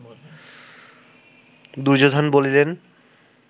দুর্যোধন বলিলেন